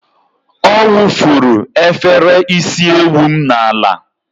Ọ wụfuru efere isi ewu m n'ala.